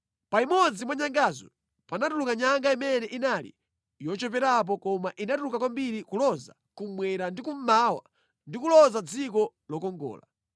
Pa imodzi mwa nyangazo panatuluka nyanga imene inali yocheperapo koma inakula kwambiri kuloza kummwera ndi kummawa ndi kuloza dziko lokongola.